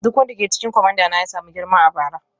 Duk wanda ke cikin kwamandana ya samu girma a bara.